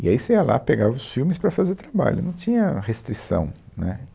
E aí você ia lá, pegava os filmes para fazer o trabalho, não tinha restrição, né